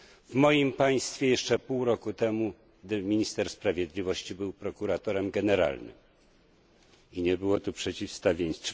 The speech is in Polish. W moim państwie jeszcze pół roku temu minister sprawiedliwości był prokuratorem generalnym i nie było tu przeciwstawieństw.